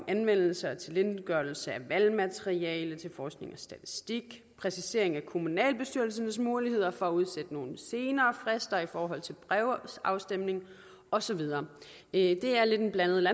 af anvendelse og tilintetgørelse af valgmateriale til forskning og statistik præcisering af kommunalbestyrelsernes muligheder for at udsætte nogle senere frister i forhold til brevafstemning og så videre det er lidt en blandet